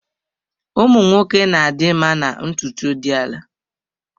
Ụmụ nwoke na-adị mma na ntutu dị ala.